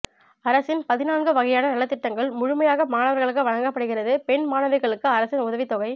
அரசின் பதின்நான்கு வகையான நலத்திட்டங்கள் முழுமையாக மாணவர்களுக்கு வழங்கப்படுகிறது பெண் மாணவிகளுக்கு அரசின் உதவித்தொகை